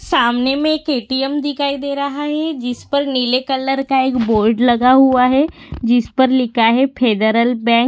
सामने में एक ए.टी.एम. दिखाई दे रहा है जिसपे नीले कलर का एक बोर्ड लगा हुआ है जिस पर लिखा है फेडरल बँक --